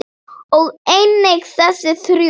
og einnig þessi þrjú